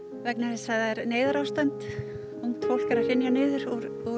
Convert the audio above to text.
vegna þess að það er neyðarástand fólk er að hrynja niður úr